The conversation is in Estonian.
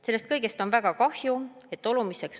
Sellest kõigest on väga kahju.